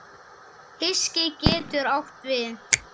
Hyski getur átt við